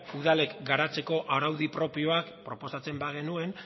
udalek garatzeko araudi propioa proposatzen bagenuen